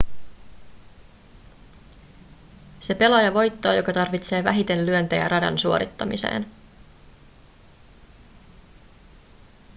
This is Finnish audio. se pelaaja voittaa joka tarvitsee vähiten lyöntejä radan suorittamiseen